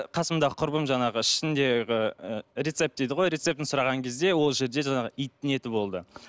қасымдағы құрбым жаңағы ішіндегі ы рецепт дейді ғой рецептін сұраған кезде ол жерде жаңағы иттің еті болды